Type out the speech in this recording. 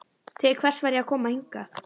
Til hvers var ég að koma hingað?